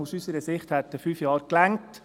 Aus unserer Sicht hätten fünf Jahre gereicht.